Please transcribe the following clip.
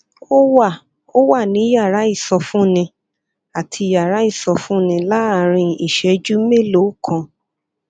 ó wà ó wà ní yàrá ìsọfúnni àti yàrá ìsọfúnni láàárín ìṣẹjú mélòó kan